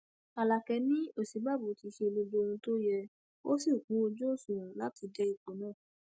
alákẹ ni òsínbàbò ti ṣe gbogbo ohun tó yẹ ó sì kún ojú òṣùwọn láti dé ipò náà